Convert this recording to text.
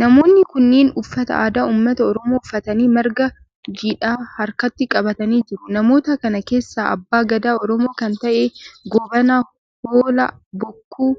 namoonni kunneen uffata aadaa ummata oromoo uffatanii marga jiidhaa harkatti qabatanii jiru. namoota kana keessa abbaa Gadaa oromoo kan ta'e Goobana Hoolaa bokkuu